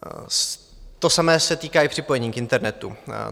To samé se týká i připojení k internetu.